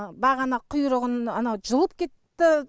бағана құйрығын анау жұлып кетті